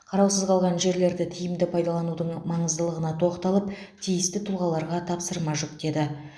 қараусыз қалған жерлерді тиімді пайдаланудың маңыздылығына тоқталып тиісті тұлғаларға тапсырма жүктеді